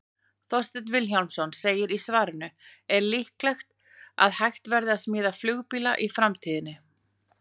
Þorsteinn Vilhjálmsson segir í svarinu Er líklegt að hægt verði að smíða flugbíla í framtíðinni?